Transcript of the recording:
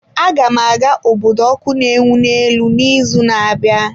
Aga m aga obodo ọkụ na-enwu n'elu n'izu na-abịa.